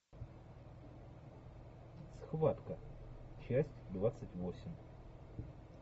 схватка часть двадцать восемь